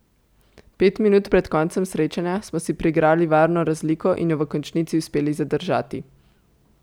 Pet minut pred koncem srečanja smo si priigrali varno razliko in jo v končnici uspeli zadržati.